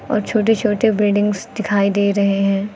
और छोटे छोटे बिल्डिंग्स दिखाई दे रहे है।